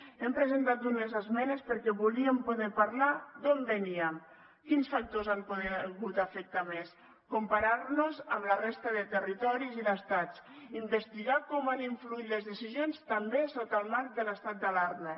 hem presentat unes esmenes perquè volíem poder parlar d’on veníem quins factors han pogut afectar més comparar nos amb la resta de territoris i d’estats investigar com han influït les decisions també sota el marc de l’estat d’alarma